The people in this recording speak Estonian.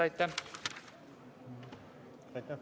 Aitäh!